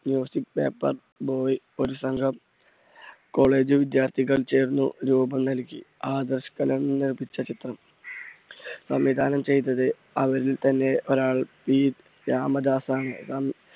paper boy ഒരു സംഗം college വിദ്യാർത്ഥികൾ ചേർന്ന് രൂപം നൽകി. നിർമ്മിച്ച ചിത്രം സംവിധാനം ചെയ്തത് അവരിൽതന്നെ ഒരാൾ പി രാമദാസാണ്.